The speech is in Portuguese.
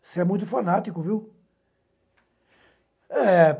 Você é muito fanático, viu? Eh